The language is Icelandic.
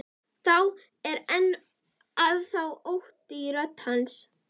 Það er enn þá ótti í rödd hans.